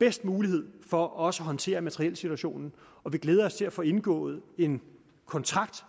bedste mulighed for også at håndtere materielsituationen og vi glæder os til at få indgået en kontrakt